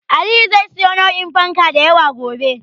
Aliyu zai siyo nau'in fanka da yawa gobe.